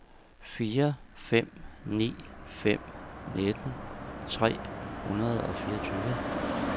fire fem ni fem nitten tre hundrede og fireogtyve